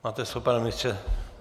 Máte slovo, pane ministře.